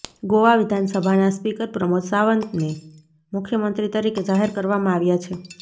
ગોવા વિધાનસભાના સ્પીકર પ્રમોદ સાવંતને મુખ્યમંત્રી તરીકે જાહેર કરવામાં આવ્યા છે